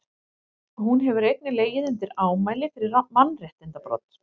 hún hefur einnig legið undir ámæli fyrir mannréttindabrot